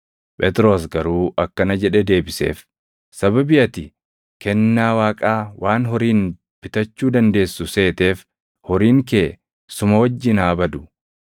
Phexros garuu akkana jedhee deebiseef; “Sababii ati kennaa Waaqaa waan horiin bitachuu dandeessu seeteef horiin kee suma wajjin haa badu!